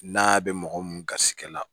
N'a bɛ mɔgɔ mun garisɛgɛ la